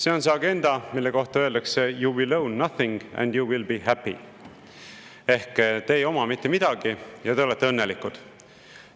See on see agenda, mille kohta öeldakse you will own nothing and you will be happy ehk te ei oma mitte midagi, ja te olete õnnelikud.